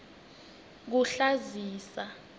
kuhlazisa